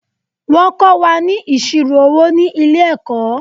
Wọ́n kó wa ni ìṣirò owó ni ilẹ̀-ẹ̀kọ́.